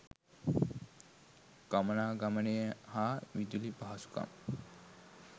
ගමනාගමනය හා විදුලි පහසුකම්